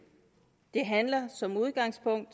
det handler som udgangspunkt